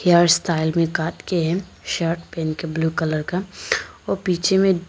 hair style में काट के है शर्ट पहन के ब्लू कलर का और पीछे में--